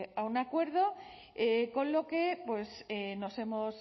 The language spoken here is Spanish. a un acuerdo con lo que nos hemos